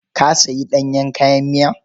Ka sayi ɗanyen kayan miya?